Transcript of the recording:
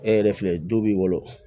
E yɛrɛ filɛ du b'i wolo